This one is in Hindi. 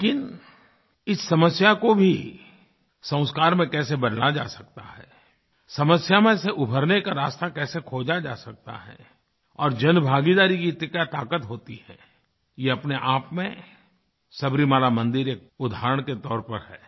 लेकिन इस समस्या को भी संस्कार में कैसे बदला जा सकता है समस्या में से उबरने का रास्ता कैसे खोजा जा सकता है और जनभागीदारी में इतनी क्या ताक़त होती है ये अपने आप में सबरीमाला मंदिर एक उदाहरण के तौर पर है